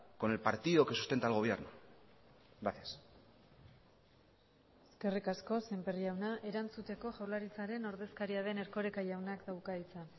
con el partido que sustenta al gobierno gracias eskerrik asko sémper jauna erantzuteko jaurlaritzaren ordezkaria den erkoreka jaunak dauka hitza